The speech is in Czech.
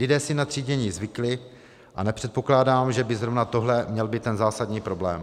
Lidé si na třídění zvykli a nepředpokládám, že by zrovna tohle měl být ten zásadní problém.